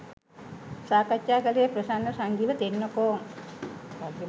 සාකච්ඡා කළේ ප්‍රසන්න සංජීව තෙන්නකෝන්